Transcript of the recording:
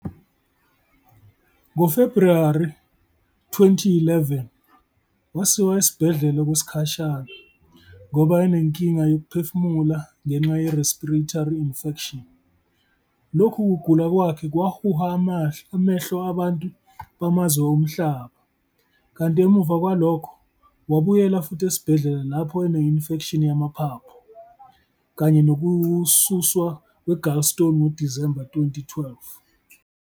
NgoFebruwari 2011, wasiwa esibhedlela okwesikhashana, ngoba enenkinga yokuphefumula ngenxa ye-respiratory infection, lokhu kugula kwakhe kwahuha amahlo abantu bamazwe omhlaba, kanti emuva kwalokho, wabuyela futhi esibhedlela lapho ene-infection yamaphathu, kanye nokususwa kwe-gallstone ngoDisemba ka 2012.